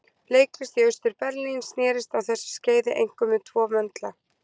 Leiklist í Austur-Berlín snerist á þessu skeiði einkum um tvo möndla